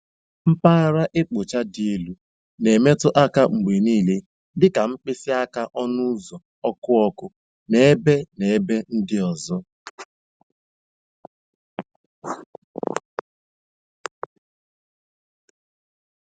Mpaghara ịkpụcha dị elu na-emetụ aka mgbe niile, dị ka mkpịsị aka ọnụ ụzọ, ọkụ ọkụ, na ebe na ebe ndị ọzọ.